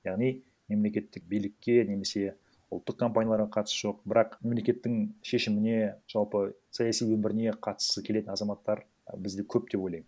яғни мемлекеттік билікке немесе ұлттық компанияларға қатысы жоқ бірақ мемлекеттің шешіміне жалпы саяси өміріне қатысқысы келетін азаматтар і бізде көп деп ойлаймын